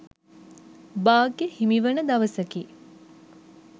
භාග්‍ය හිමිවන දවසකි